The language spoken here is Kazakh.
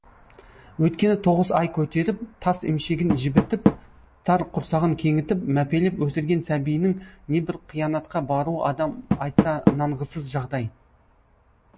өйткені тоғыз ай көтеріп тас емшегін жібітіп тар құрсағын кеңітіп мәпелеп өсірген сәбиінің небір қиянатқа баруы адам айтса нанғысыз жағдай